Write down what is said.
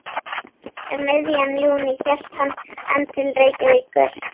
Um miðjan júní hélt hann enn til Reykjavíkur.